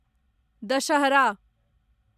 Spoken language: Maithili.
दशहरा